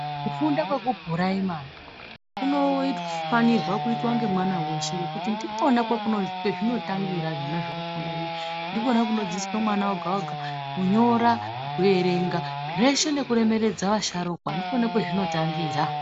Kufunda kwekupuraimari kunofanirwa kuitwa ngemwana weshe ngekuti ndikona kwezvinotangira zvona zvekufunda zvinezvi. Ndikona kunodzidziswa mwana woga-woga kunyora, kuerenga zveshe nekuremeredza vasharukwa, ndikona kwezvinotangira.